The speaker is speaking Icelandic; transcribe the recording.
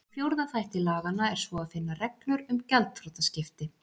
Í fjórða þætti laganna er svo að finna reglur um gjaldþrotaskipti.